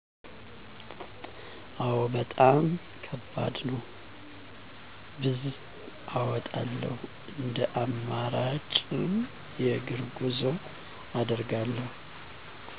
አዎ። በጣም ከባድ ነው። ብዝ አወጣለሁ። እንደ አማራጭ ረጅም የእግር ጉዞ አደርጋለሁ